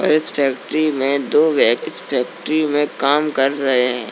अ इस फैक्ट्री में दो इस फैक्ट्री में काम कर रहे हैं।